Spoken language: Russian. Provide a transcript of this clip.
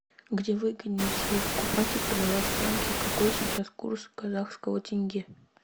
где выгоднее всего покупать и продавать франки какой сейчас курс казахского тенге